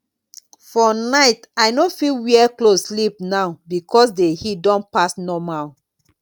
for night i no fit wear cloth sleep now because the heat don pass normal